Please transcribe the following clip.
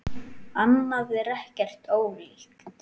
Annað er ekki ólíkt.